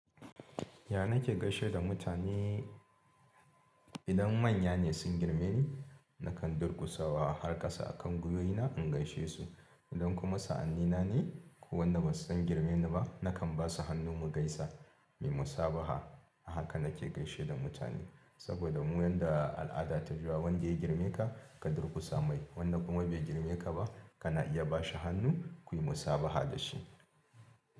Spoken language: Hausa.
Ya na ke gaishe da mutane? Idan manya ne sun girme ni, na kan durkusawa har ƙasa a kan guyoyina in gaishe su. Idan kuma sa'anni na ne ko wanda ba su ɗan girme ni ba, na kan ba su hannu mu gaisa, muyi musabaha. Haka nake gaishe da mutane saboda mu yanda al'ada ta yi yawa wanda ya girme ka, ka durƙusa mai. Wanda kuma bai girme ka ba, ka na iya bashi hannu kuyi musabaha da shi.